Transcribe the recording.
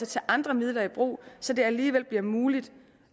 tage andre midler i brug så det alligevel bliver muligt